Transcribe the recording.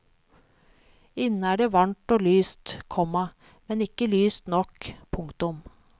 Inne er det varmt og lyst, komma men ikke lyst nok. punktum